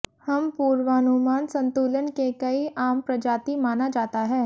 हम पूर्वानुमान संतुलन के कई आम प्रजाति माना जाता है